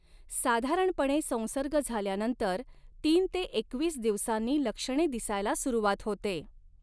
साधारणपणे संसर्ग झाल्यानंतर तीन ते एकवीस दिवसांनी लक्षणे दिसायला सुरुवात होते.